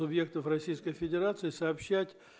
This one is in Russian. субъектов российской федерации сообщать